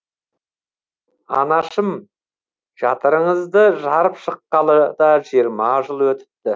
анашым жатырыңызды жарып шыққалы да жиырма жыл өтіпті